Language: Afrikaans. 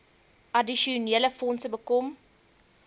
addisionele fondse bekom